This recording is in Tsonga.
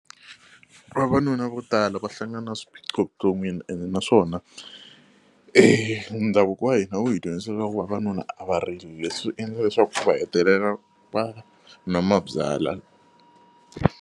Vavanuna vo tala va hlangana na swiphiqo vuton'wini ene naswona e ndhavuko wa hina wu hi dyondzisa swa ku vavanuna a va rili leswi endla leswaku va hetelela va nwa mabyalwa.